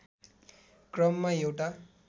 क्रममा एउटा